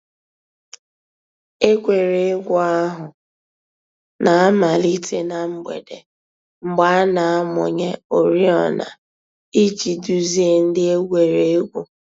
Ègwè́ré́gwụ̀ àhụ̀ nà-àmàlítè nà mgbèdè, mgbè a nà-àmụ̀nyè òrìọ̀nà íjì dùzìe ńdí ègwè́ré́gwụ̀.